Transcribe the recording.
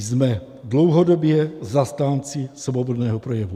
Jsme dlouhodobě zastánci svobodného projevu.